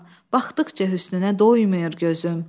Baxdıqca hüsnünə doymur gözüm.